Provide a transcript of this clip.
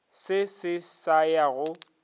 se se sa ya go